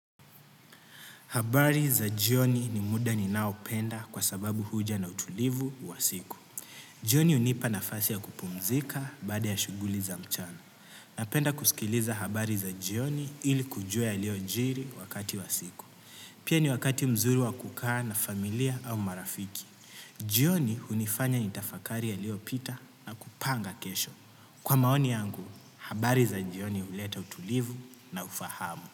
Habari za jioni ni muda ninao penda kwa sababu huja na utulivu wa siku. Jioni unipa nafasi ya kupumzika baada ya shuguli za mchana. Napenda kusikiliza habari za jioni ili kujua yaliyojjiri wakati wa siku. Pia ni wakati mzuri wa kukaa na familia au marafiki. Jioni hunifanya nitafakari yaliyopita na kupanga kesho. Kwa maoni yangu, habari za jioni uleta utulivu na ufahamu.